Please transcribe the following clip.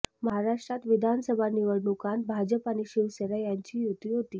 महाराष्ट्रात विधानसभा निवडणुकांत भाजप आणि शिवसेना यांची युती होती